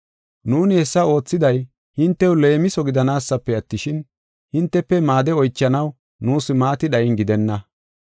Nuuni hessa oothiday, hintew leemiso gidanaasafe attishin, hintefe maade oychanaw nuus maati dhayina gidenna.